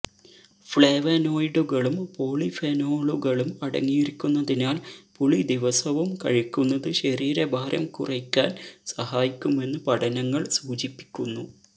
ഫ്ലേവനോയ്ഡുകളും പോളിഫെനോളുകളും അടങ്ങിയിരിക്കുന്നതിനാൽ പുളി ദിവസവും കഴിക്കുന്നത് ശരീരഭാരം കുറയ്ക്കാൻ സഹായിക്കുമെന്ന് പഠനങ്ങൾ സൂചിപ്പിക്കുന്നു